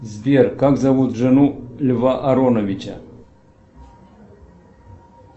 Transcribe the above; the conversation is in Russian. сбер как зовут жену льва ароновича